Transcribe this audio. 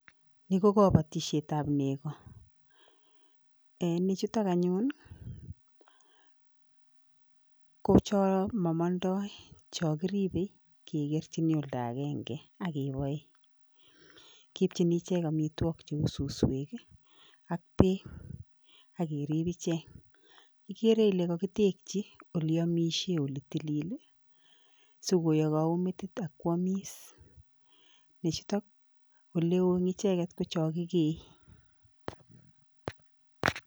Yu ko kabatisiet ab nego en chuutok anyun ko cho mamandoi cho kiribei kigerchini olda agenge agebae kiipchini ichek amitwogik ku suswek ak peek akeriib icheek. Igeere ile kakitekchi oleamishie oletilil sikoyagau metit akwamis. Neechutok oleu icheeget ko chakigee